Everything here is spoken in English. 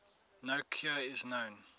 no cure is known